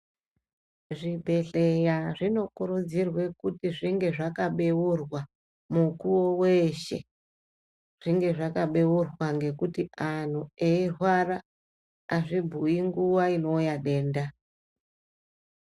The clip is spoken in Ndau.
Zvibhedhleya zvinokurudzirwe kuti zvinge zvakabeurwa mukuwo weshe. Zvinge zvakabeurwa ngekuti anhu eirwara azvibhuyi nguva inouya denda.